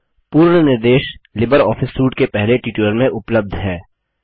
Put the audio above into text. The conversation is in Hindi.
पूर्ण निर्देश लिबर ऑफिस सूट के पहले ट्यूटोरियल में उपलब्ध हैं